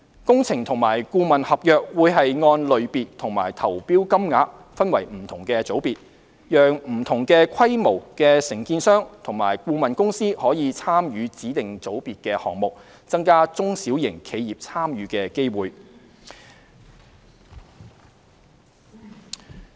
工程和顧問合約會按類別和投標金額分為不同組別，讓不同規模的承建商和顧問公司可參與指定組別的項目，增加中小型的參與機會。